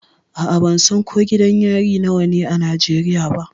A'a, ban san ko gidan yari nawa ne a Najeriya ba.